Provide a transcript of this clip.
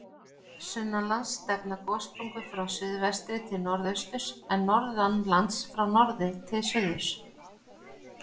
Sunnanlands stefna gossprungur frá suðvestri til norðausturs, en norðanlands frá norðri til suðurs.